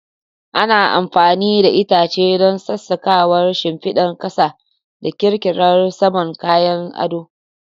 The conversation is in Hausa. Ana amfani da itace don sassaƙawa, shimfidar ƙasa da ƙirƙirar saman kayan ado.